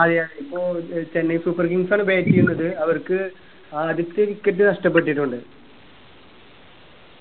അതെ ഇപ്പോ Chennai super kings ആണ് bat ചെയ്യുന്നത് അവർക്ക് ആദ്യത്തെ wicket നഷ്ടപ്പെട്ടിട്ടുണ്ട്